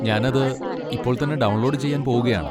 ഞാൻ അത് ഇപ്പോൾ തന്നെ ഡൗൺലോഡ് ചെയ്യാൻ പോകുകയാണ്.